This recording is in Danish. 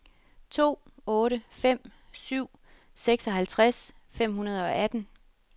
to otte fem syv seksoghalvtreds fem hundrede og atten